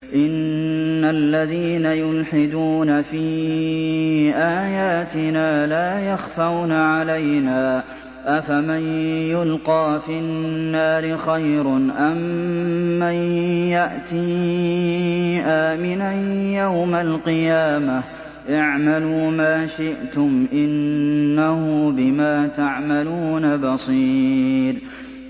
إِنَّ الَّذِينَ يُلْحِدُونَ فِي آيَاتِنَا لَا يَخْفَوْنَ عَلَيْنَا ۗ أَفَمَن يُلْقَىٰ فِي النَّارِ خَيْرٌ أَم مَّن يَأْتِي آمِنًا يَوْمَ الْقِيَامَةِ ۚ اعْمَلُوا مَا شِئْتُمْ ۖ إِنَّهُ بِمَا تَعْمَلُونَ بَصِيرٌ